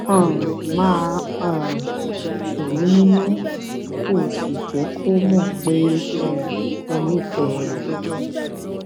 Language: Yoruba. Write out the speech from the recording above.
um máa um tù ú nínú kó o sì jẹ kó mọ pé um o nífẹẹ rẹ